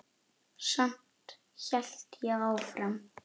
Samt hélt ég áfram.